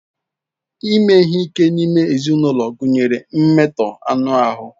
Ime ihe ike n'ime ulo gunyere mmeto anu ahu.